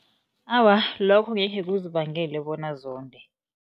Awa, lokho angekhe kuzibangele bona zonde.